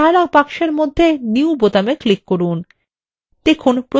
dialog বক্সের মধ্যে new বোতামে click করুন